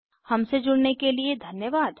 हमसे जुड़ने के लिए धन्यवाद